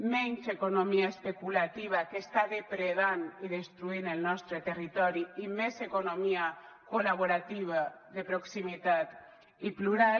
menys economia especulativa que està depredant i destruint el nostre territori i més economia col·laborativa de proximitat i plural